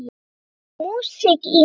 Það er músík í henni.